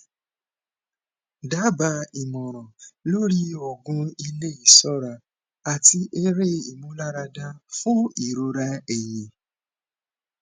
daba ìmọràn lórí oògùn ilé isora ati ere imularada fún ìrora ẹyìn